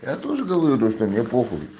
я тоже говорю что мне похуй